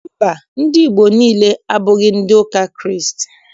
Mba, ndị Igbo niile, abụghị ndị ụka Kraịst.